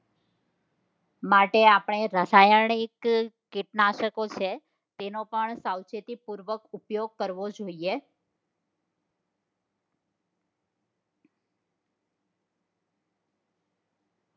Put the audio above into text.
માટે આપણે રાસાયણિક કીટનાશકો છે તેનો પણ સાવચેતીપૂર્વક ઉપયોગ કરવો જોઈએ